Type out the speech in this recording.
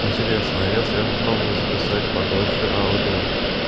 интересно а если я попробую записать подольше аудио